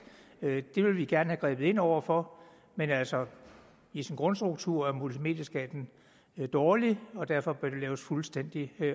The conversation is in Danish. det vil vi gerne have grebet ind over for men altså i sin grundstruktur er multimedieskatten dårlig og derfor bør det laves fuldstændig